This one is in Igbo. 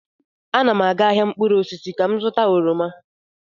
Ana m aga ahịa mkpụrụ osisi ka m zụta oroma.